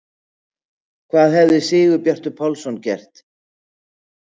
Hvað hefði Sigurbjartur Pálsson gert?